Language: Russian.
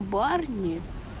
барни